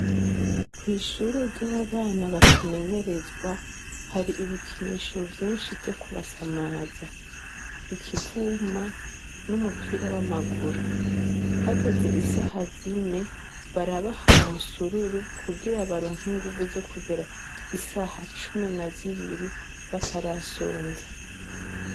Kw'ishure ry'abana bakimenyerezwa hari ibikinisho vyinshi vyo kubasamaza, ikivuma n'umupira w'amaguru. Hageze isaha zine, barabaha umusururu kugira baronke inguvu zo kugera isaha cumi na zibiri batarasonza.